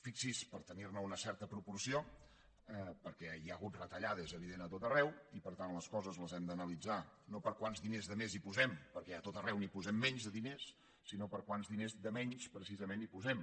fixi’s per te·nir·ne una certa proporció perquè hi ha hagut reta·llades és evident a tot arreu i per tant les coses les hem d’analitzar no per quants diners de més hi posem perquè a tot arreu n’hi posem menys de diners sinó per quants diners de menys precisament hi posem